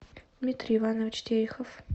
дмитрий иванович терехов